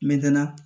Metɛna